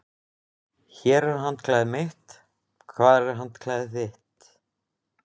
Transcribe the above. Hér er handklæðið mitt. Hvar er handklæðið þitt?